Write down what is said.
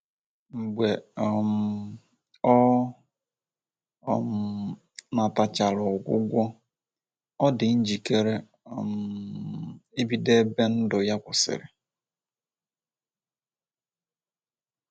Mgbe um ọ um natachara ogwụgwọ, o dị njikere um ibido ebe ndu ya kwụsirị